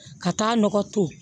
Ka taa nɔgɔ to